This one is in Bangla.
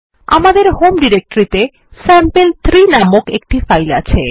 আমাদের হোম ডিরেক্টরিতে স্যাম্পল3 নামের একটি ফাইল আছে